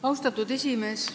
Austatud esimees!